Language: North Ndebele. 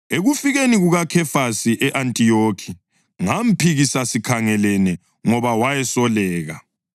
Ekufikeni kukaKhefasi e-Antiyokhi ngamphikisa sikhangelene ngoba wayesoleka.